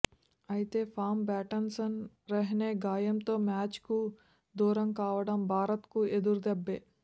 అయితే form batsman Rahane గాయంతో మ్యాచ్కు దూరం కావడం భారత్కు ఎదురుదెబ్బే